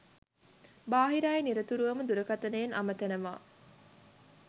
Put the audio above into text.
බාහිර අය නිරතුරුවම දුරකතනයෙන් අමතනවා